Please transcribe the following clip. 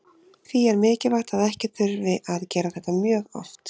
Því er mikilvægt að ekki þurfi að gera þetta mjög oft.